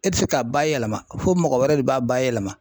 E tɛ se k'a bayɛlɛma fo mɔgɔ wɛrɛ de b'a bayɛlɛma.